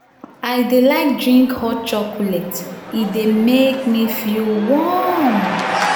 i dey like drink hot chocolate e dey make me feel warm.